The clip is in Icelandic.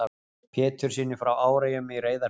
Péturssyni frá Áreyjum í Reyðarfirði.